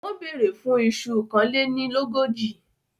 Wọ́n bèèrè fún un iṣu kánlénilógójì.